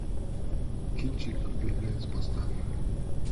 кинчик беглец поставь